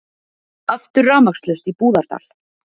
Aftur rafmagnslaust í Búðardal